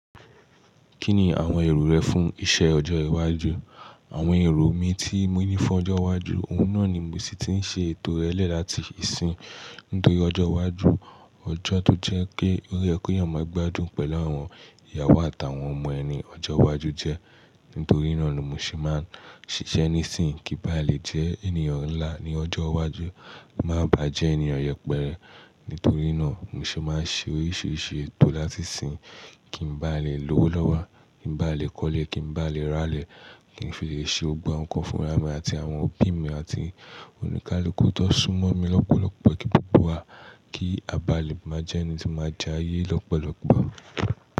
Kí ni àwọn èrò rẹ fún iṣẹ́ ọjọ́ iwájú? Àwọn èrò mi tí mo ní fún ọjọ́ iwájú, òun náà ni mo sì ti ń ṣe ètò rẹlẹ láti ìsìn. Nítorí ọjọ́ iwájú, ọjọ́ tó jẹ́ kí ó rẹ̀ kó eyàn máa gbádùn pẹ̀lú àwọn ìyàwó àtàwọn ọmọ ẹni ọjọ́ iwájú jẹ. Nítorí náà ni mo sì máa ń ṣiṣẹ́ nísìnyí kí n bá lè jẹ́ ènìyàn ńlá ní ọjọ́ iwájú, má bàá jẹ́ ènìyàn yẹpẹrẹ. Nítorí náà mo sì máa ń ṣe oríṣiríṣi ètò láti ìsìn kí n bá lè lówó lọ́wọ́, kí n bá lè kọ́lé, kí n bá lè rálé, kí n fi lè ṣe ọgbọ́n kan fún ìyá mi àti àwọn òbí mi àti oníkálukú tó súnmọ́ mi lọ́pọ̀lọpọ̀ kí gbogbo wa kí a bá lè máa jẹ́ ẹni tí máa jáye lọ́pọ̀lọpọ̀.